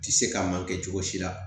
Ti se ka ma kɛ cogo si la